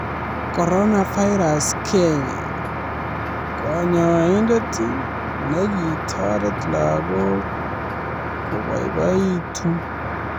Coronavirus Kenya: Konyoindet nekitoret lagok kiboiboitu